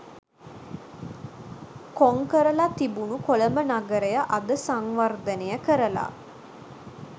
කොං කරලා තිබුණු කොළඹ නගරය අද සංවර්ධනය කරලා